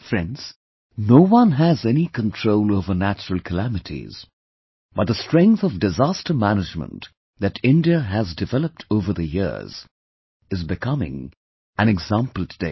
Friends, no one has any control over natural calamities, but, the strength of disaster management that India has developed over the years, is becoming an example today